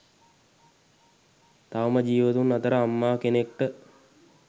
තවම ජීවතුන් අතර අම්මා කෙනෙක්ට